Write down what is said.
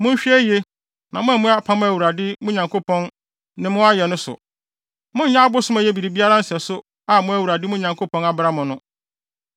Monhwɛ yiye na moammu apam a Awurade, mo Nyankopɔn, ne mo ayɛ no so. Monyɛ abosom a ɛyɛ biribiara nsɛso a mo Awurade, mo Nyankopɔn, abra mo no.